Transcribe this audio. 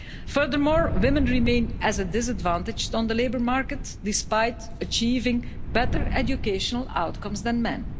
Furthermore, women remain at a disadvantage on the labour market, despite achieving better educational outcomes than men.